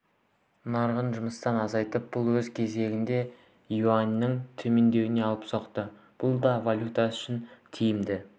нарығы жұмысын азайтып бұл өз кезегінде юаньның төмендеуіне алып соқты бұл да валютасы үшін тиімді